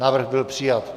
Návrh byl přijat.